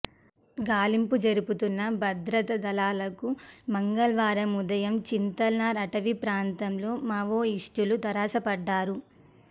గాలింపు జరుపుతున్న భద్రతా దళాలకు మంగళవారం ఉదయం చింతల్నార్ అటవీ ప్రాంతంలో మావోయిస్టులు తారసపడ్డారు